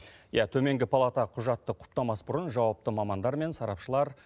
иә төменгі палата құжатты құптамас бұрын жауапты мамандармен сарапшылар